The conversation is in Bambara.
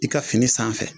I ka fini sanfɛ